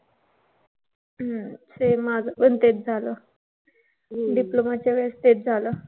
हम्म same माझं पण तेच झालं. Diploma च्या वेळेस तेच झालं.